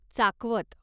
चाकवत